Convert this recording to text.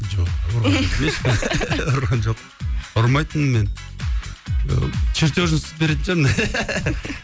жоқ ұрған емеспін ұрған жоқпын ұрмайтынмын мен ыыы чертежін сызып беретін шығармын